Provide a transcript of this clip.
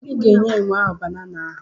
I ga-enye enwe ahụ banana ahụ.